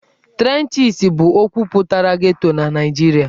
Trenches' bụ okwu pụtara 'Ghetto' na Naịjirịa.